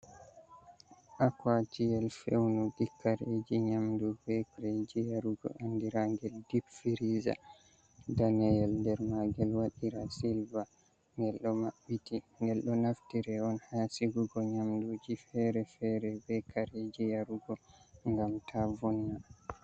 aquaciyel fewnu dikkareji nyamdug vekareji yarugo andiragel dipfiriza daniyel der magel wadira silva ngel do mabbiti ngel do naftira on hasigugo nyamduji fere-fere vekareji yarugo gam ta vona